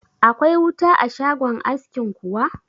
Akwai wuta a shagon askin kuwa?